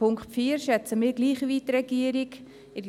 Den Punkt 4 schätzen wir gleich wie die Regierung ein.